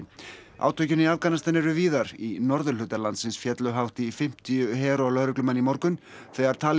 átökin í Afganistan eru víðar í norðurhluta landsins féllu hátt í fimmtíu her og lögreglumenn í morgun þegar